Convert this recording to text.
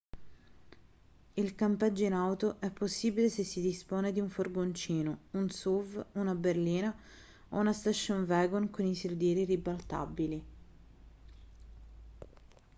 il campeggio in auto è possibile se si dispone di un furgoncino un suv una berlina o una station wagon con i sedili ribaltabili